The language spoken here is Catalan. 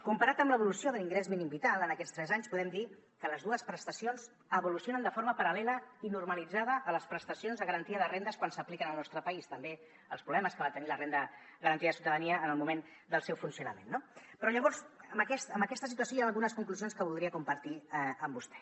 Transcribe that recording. comparat amb l’evolució de l’ingrés mínim vital en aquests tres anys podem dir que les dues prestacions evolucionen de forma paral·lela i normalitzada a les prestacions de garantia de rendes quan s’apliquen al nostre país també els problemes que va tenir la renda garantida de ciutadania en el moment del seu funcionament no però llavors amb aquesta situació hi han algunes conclusions que voldria compartir amb vostè